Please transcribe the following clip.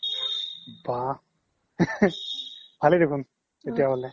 বাহ ভালে দেখোন তেতিয়া হ্'লে